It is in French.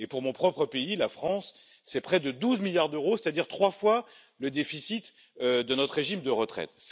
Pour mon propre pays, la France, c'est près de 12 milliards d'euros, c'est à dire trois fois le déficit de notre régime de retraite.